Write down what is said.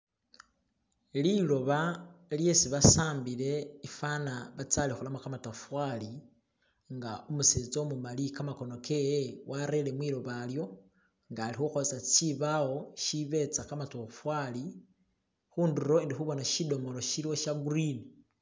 liloba lyesi basambile ifana batsaliholamu kamatafali nga umusetsa umumali kamahono kewe warere mwiloba lyo nga ali huholesa shibawo shibetsa kamatofala hunduro ndihubona shidomolo shagurini